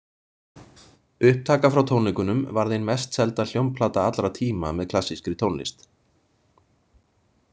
Upptaka frá tónleikunum varð ein mest selda hljómplata allra tíma með klassískri tónlist.